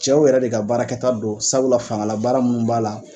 Cɛw yɛrɛ de ka baarakɛta don sabula faŋala baara min b'a la